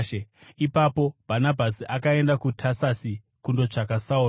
Ipapo Bhanabhasi akaenda kuTasasi kundotsvaka Sauro,